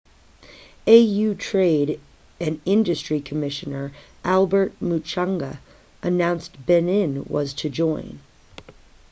au trade and industry commissioner albert muchanga announced benin was to join